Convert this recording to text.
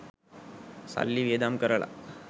සල්ලි වියදම් කරලා